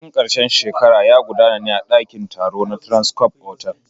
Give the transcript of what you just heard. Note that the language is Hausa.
Bikin ƙarshen shekara ya gudana ne a ɗakin taro na Transcof otel.